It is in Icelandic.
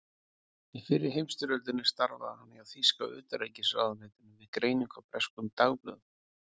Í fyrri heimsstyrjöldinni starfaði hann hjá þýska utanríkisráðuneytinu við greiningu á breskum dagblöðum.